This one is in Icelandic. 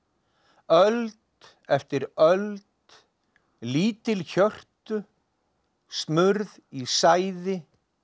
öld eftir öld lítil hjörtu smurð í sæði